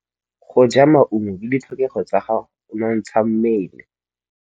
Go ja maungo ke ditlhokegô tsa go nontsha mmele.